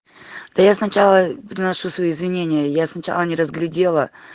да я сначала приношу свои извинения я сначала не разглядела